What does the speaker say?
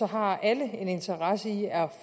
har alle en interesse i at